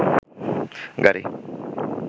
গাড়ি